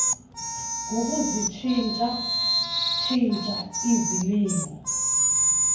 yokuzitshintsha tshintsha izilimo